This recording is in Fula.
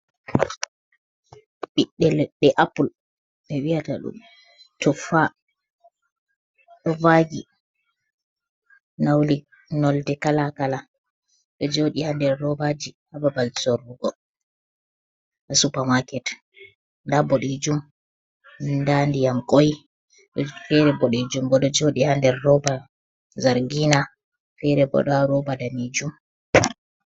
Ɓibbe lede apple be wi’ata dum tufa do vagi, nauli nolde kalakala do jodi hander robaji hababal sorrugo, ha supermarket nda bodejum nda diyam koi fere bodijum bo do jodi ha nder roba zargina fere bo do roba danejum.